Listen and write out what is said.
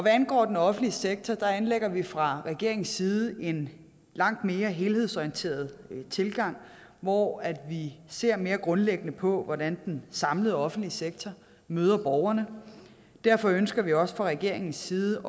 angår den offentlige sektor anlægger vi fra regeringens side en langt mere helhedsorienteret tilgang hvor vi ser mere grundlæggende på hvordan den samlede offentlige sektor møder borgerne derfor ønsker vi også fra regeringens side